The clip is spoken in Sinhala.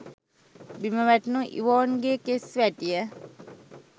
බිම වැටුණු ඉවෝන්ගේ කෙස් වැටිය